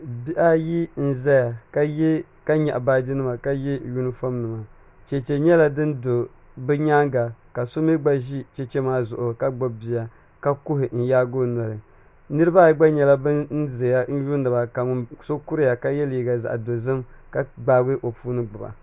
Bihi ayi n ʒɛya ka nyaɣa baaji nima ka yɛ yunifom nima chɛchɛ nyɛla din do bi nyaanga ka so mii gba ʒi chɛchɛ maa zuɣu ka gbubi bia ka kuhi n yaagi o noli niraba ayi gba nyɛla bin ʒɛya n lihiriba ka so kuriya ka yɛ liiga dozim ka gbaagi o puli gbuba